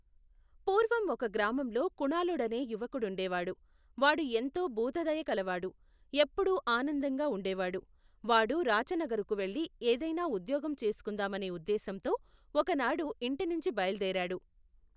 పూర్వం ఒక గ్రామంలో కుణాళుడనే యువకుడుండేవాడు. వాడు ఎంతో భూత దయ కలవాడు, ఎప్పుడూ ఆనందంగా ఉండేవాడు. వాడు రాచనగరుకు వెళ్లి ఏదైనా ఉద్యోగం చేసుకుందామనే ఉద్దేశంతో ఒకనాడు ఇంటి నుంచి బయలుదేరాడు.